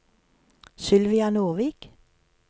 Sylvia Nordvik